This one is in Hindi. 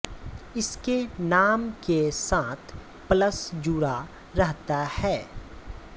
इसके नाम के साथ पल्लस जुड़ा रहता है